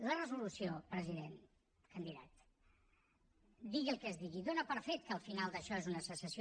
la resolució president candidat digui el que es digui dóna per fet que el final d’això és una secessió